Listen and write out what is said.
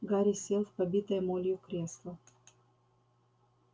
гарри сел в побитое молью кресло